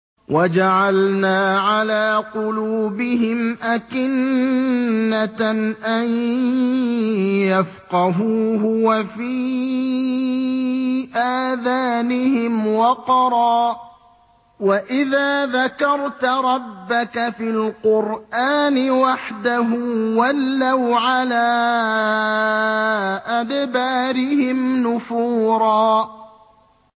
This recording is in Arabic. وَجَعَلْنَا عَلَىٰ قُلُوبِهِمْ أَكِنَّةً أَن يَفْقَهُوهُ وَفِي آذَانِهِمْ وَقْرًا ۚ وَإِذَا ذَكَرْتَ رَبَّكَ فِي الْقُرْآنِ وَحْدَهُ وَلَّوْا عَلَىٰ أَدْبَارِهِمْ نُفُورًا